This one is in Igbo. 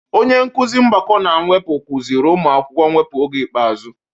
Onye nkuzi mgbakọ na mwepụ kuziri ụmụ akwụkwọ mwepu oge ikpeazụ.